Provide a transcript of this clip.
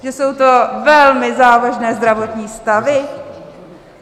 Že jsou to velmi závažné zdravotní stavy?